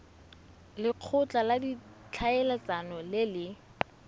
lekgotla la ditlhaeletsano le le